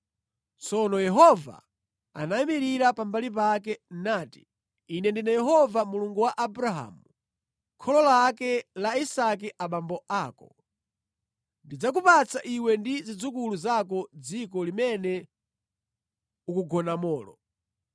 Tsono Yehova anayimirira pambali pake, nati, “Ine ndine Yehova, Mulungu wa Abrahamu kholo lake la Isake abambo ako. Ndidzakupatsa iwe ndi zidzukulu zako dziko limene ukugonamolo.